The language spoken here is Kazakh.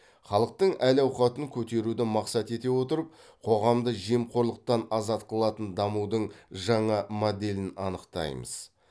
халықтың әл ауқатын көтеруді мақсат ете отырып қоғамды жемқорлықтан азат қылатын дамудың жаңа моделін анықтаймыз